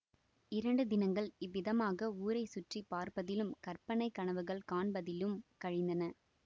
இரண்டு தினங்கள் இவ்விதமாக ஊரை சுற்றி பார்ப்பதிலும் கற்பனை கனவுகள் காண்பதிலும் கழிந்தன